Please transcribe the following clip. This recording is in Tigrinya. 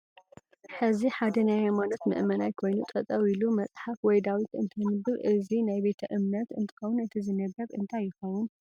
እዚ ሐደ ናይ ሃይማኖት መእመናይ ኮይኑ ጠጠው ኢሉ መፃሓፋ ወይ ዳዊት እተንብብ አዚ ናይ ቤተ እምነት እነትከውን እቲ ዝንበብ እንታይ ይከውን?